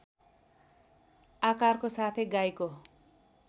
आकारको साथै गाईको